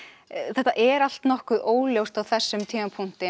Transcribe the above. þetta er allt nokkuð óljóst á þessum tímapunkti